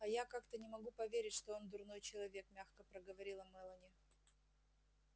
а я как-то не могу поверить что он дурной человек мягко проговорила мелани